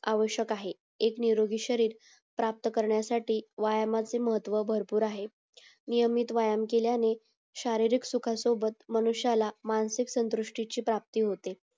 आवशक आहे एक निरोगी शरीर प्राप्त करण्यासाठी व्यायामाचे महत्व भरपूर आहेत नियमित व्यायाम केल्याने शहरीरीक सुखासोबत मनुष्याला मानसिक संतृष्टीची प्राप्ती होते